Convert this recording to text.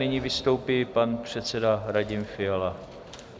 Nyní vystoupí pan předseda Radim Fiala.